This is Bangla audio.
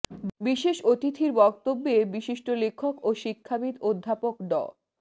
বিশেষ অতিথির বক্তব্যে বিশিষ্ট লেখক ও শিক্ষাবিদ অধ্যাপক ড